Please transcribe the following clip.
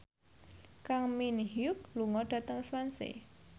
Kang Min Hyuk lunga dhateng Swansea